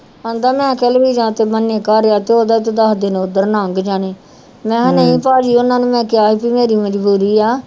ਕਹਿੰਦਾ ਮੈਂ ਚੱਲ ਵੀਰਾਂ ਤੇ ਮੰਨੇ ਘਰ ਆ ਤੇ ਉਹਦਾ ਤੇ ਦਸ ਦਿਨ ਉੱਧਰ ਲੰਘ ਜਾਣੇ, ਮੈਂ ਕਿਹਾ ਨਹੀਂ ਭਾਜੀ ਉਹਨਾਂ ਨੂੰ ਮੈਂ ਕਿਹਾ ਸੀ ਵੀ ਮੇਰੀ ਮਜ਼ਬੂਰੀ ਆ।